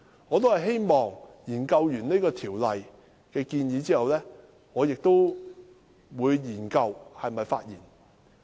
我希望在研究這項條例的相關建議後，才考慮是否發言。